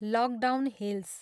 Lockdown hills.